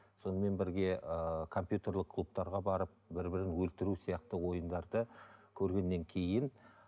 сонымен бірге ыыы компьютерлік клубтарға барып бір бірін өлтіру сияқты ойындарды көргеннен кейін